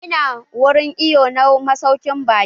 Ina wurin iwo na masaukin baki.